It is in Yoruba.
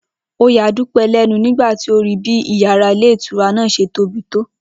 Ó ya Dúpé̩ lé̩nu nígbà tí ó rí bí yàrá ilé ìtura náà s̩e tóbi tó